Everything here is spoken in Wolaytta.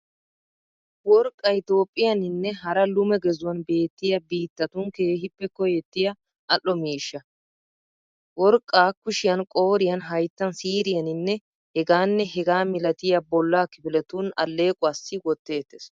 Worqqay Toophphiyaaninne hara lume gezuwan beettiya biittatun keehippe koyettiya al'o miishsha. Worqqaa kushiyan, qooriyan, hayttan, siiriyaninne hegaanne hegaa milatiya bollaa kifiletun allequwaassi wotteettes.